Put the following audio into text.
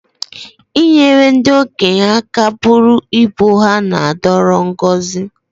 I nyere ndị okenye aka bụrụ ibu ha na-adoro ngọzi